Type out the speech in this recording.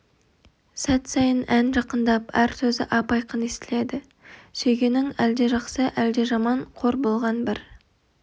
сәт сайын ән жақындап әр сөзі ап-айқын естіледі сүйгенің әлде жақсы әлде жаман қор болған бір